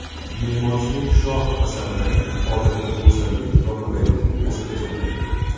Me’morchilik shoh asarlari odatda go‘zalllik va qulaylikni o‘zida jamlaydi.